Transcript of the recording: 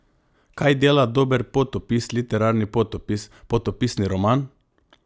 Kaj dela dober potopis literarni potopis, potopisni roman?